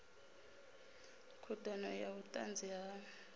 khud ano ya vhutanzi ha